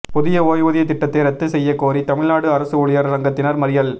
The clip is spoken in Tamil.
புதிய ஓய்வூதிய திட்டத்தை ரத்து செய்ய கோரி தமிழ்நாடு அரசு ஊழியர் சங்கத்தினர் மறியல்